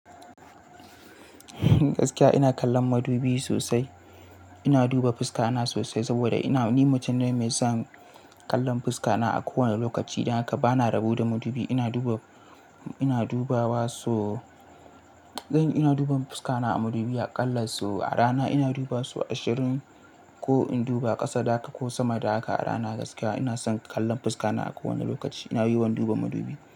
Gaskiya ina kallon madubi sosai. Ina duba fuska na sosai saboda ina, ni mutum ne mai son kallon fuska na a kowane lokaci. Dan haka bana rabo da madubi. Ina duba, ina dubawa so, zan iya duba fuska na a madubi aƙalla so a rana ina dubawa so ashirin ko in duba ƙasa da haka ko sama da haka a rana. Gaskiya ina son kallon fuska na a kowane lokaci. Ina yiwan duba madubi.